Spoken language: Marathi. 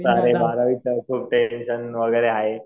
बारावीच वगैरे आहे.